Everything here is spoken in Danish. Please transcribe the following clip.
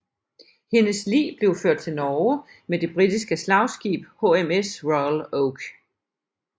Hendes lig blev ført til Norge med det britiske slagskib HMS Royal Oak